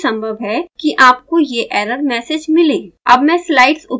तथापि यह भी संभव है कि आपको एह एरर मैसेज मिले